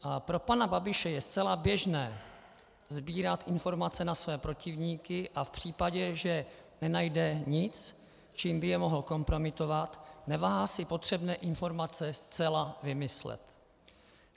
A pro pana Babiše je zcela běžné sbírat informace na své protivníky a v případě, že nenajde nic, čím by je mohl kompromitovat, neváhá si potřebné informace zcela vymyslet.